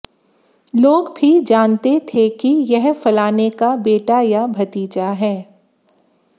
लोग भी जानते थे कि यह फलाने का बेटा या भतीजा है